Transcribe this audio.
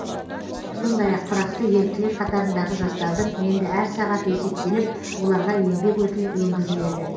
сондай ақ тұрақты еріктілер қатарындағы жастардың енді әр сағаты есептеліп оларға еңбек өтілі енгізіледі